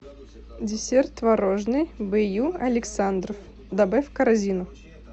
десерт творожный б ю александров добавь в корзину